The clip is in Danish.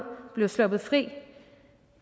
blev sluppet fri